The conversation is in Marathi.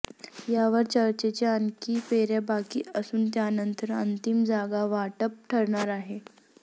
यावर चर्चेच्या आणखी फेऱ्या बाकी असून त्यानंतर अंतिम जागावाटप ठरणार आहे